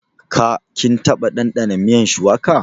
Ka / kin taba ɗandana miyan shuwaka?